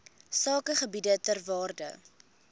sakegebiede ter waarde